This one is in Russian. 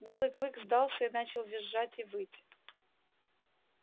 белый клык сдался и начал визжать и выть